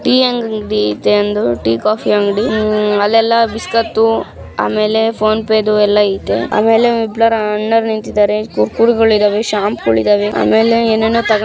ಈ ಅಂಗಡಿ ಇದೆ ಅಂದು ಟಿ ಕಾಫಿ ಅಂಗಡಿ ಅಲ್ಲೆ ಎಲ್ಲಾ ಬಿಸ್ಕತ್ ಆಮೇಲೆ ಫೋನ್ ಪೆದು ಎಲ್ಲಾ ಇದೆ. ಆಮೇಲೆ ಇಬ್ಬರು ಅಣ್ಣ ನಿಂತಿದ್ದಾರೆ. ಕುರ್ಕುರೆ ಗಳಿದಾವೆ. ಶಾಂಪಗಳಿದಾವೆ . ಆಮೇಲೆ ಏನ್ ಏನು ತಗ್--